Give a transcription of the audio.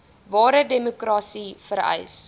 ware demokrasie vereis